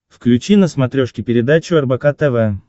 включи на смотрешке передачу рбк тв